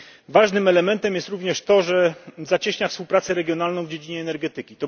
Ważnym elementem jest również to, że zacieśnia współpracę regionalną w dziedzinie energetyki.